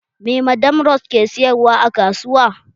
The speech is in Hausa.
Me madam rose ke sayarwa a kasuwa?